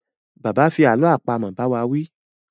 Bàbá fi àlọ́ àpamọ̀ bá wá wí